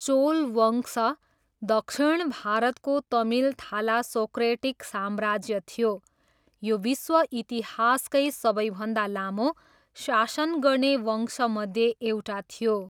चोल वंश दक्षिण भारतको तमिल थालासोक्रेटिक साम्राज्य थियो। यो विश्व इतिहासकै सबैभन्दा लामो शासन गर्ने वंशमध्ये एउटा थियो।